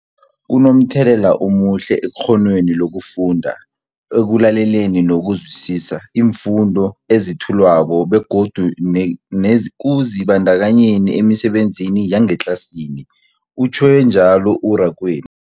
Kunomthelela omuhle ekghonweni lokufunda, ekulaleleni nokuzwisiswa iimfundo ezethulwako begodu nekuzibandakanyeni emisebenzini yangetlasini, utjhwe njalo u-Rakwena.